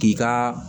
K'i ka